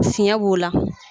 Fiɲɛ b'o la.